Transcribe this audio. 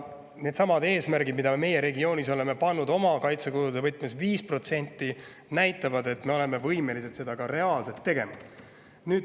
Needsamad eesmärgid – me oleme oma regioonis pannud kaitsekulude 5% – näitavad, et me oleme võimelised seda ka reaalselt tegema.